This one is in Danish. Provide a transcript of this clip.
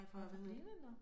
For blinde nåh